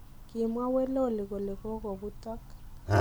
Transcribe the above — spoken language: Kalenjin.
Kimwaa Weloli kole kogobuutok.